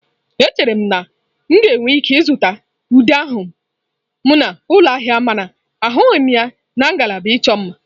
Echere m na m ga-enwe ike ịzụta ude ahụ m n'ụlọ ahịa mana ahụghị m ya na ngalaba ịchọ mma.